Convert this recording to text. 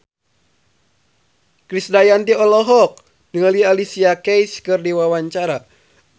Krisdayanti olohok ningali Alicia Keys keur diwawancara